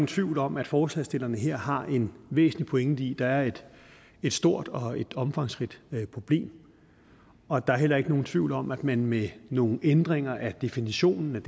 tvivl om at forslagsstillerne her har en væsentlig pointe i der er et stort og omfangsrigt problem og der er heller ikke nogen tvivl om at man med nogle ændringer af definitionen